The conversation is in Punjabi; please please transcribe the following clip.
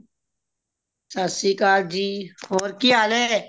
ਸਤਿ ਸ਼੍ਰੀਅਕਾਲ ਜੀ ਹੋਰ ਕਿ ਹਾਲ ਏ